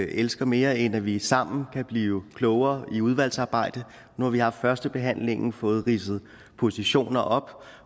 elsker mere end at vi sammen kan blive klogere i udvalgsarbejdet nu har vi haft første behandling fået ridset positioner op